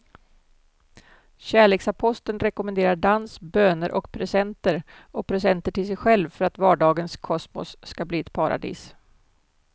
Kärleksaposteln rekommenderar dans, böner och presenter och presenter till sig själv för att vardagens kosmos ska bli ett paradis.